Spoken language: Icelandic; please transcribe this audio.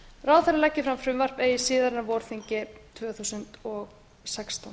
ráðherra leggi fram frumvarp eigi síðar en á vorþingi tvö þúsund og sextán